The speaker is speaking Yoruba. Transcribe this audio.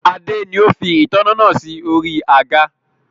Adé ni ó fi ìtanná naa si ori àga